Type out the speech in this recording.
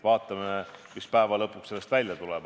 Vaatame, mis sellest lõpuks välja tuleb.